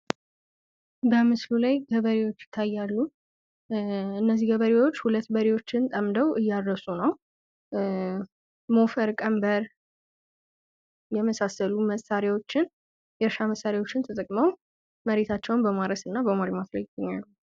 በምስሉ ላይ ገበሬዎች ይታያሉ እነዚህ ገበሬዎች ሁለት በሬዎችን ጠምደው እያረሱ ነው። ሞፈር ቀንበር የመሳሰሉ የእርሻ መሳሪያዎች ተጠቅመው መሬታቸውን በማረስ እና በማልማት ላይ ይገኛሉ።